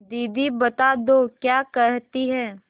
दीदी बता दो क्या कहती हैं